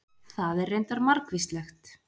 það er reyndar margvíslegt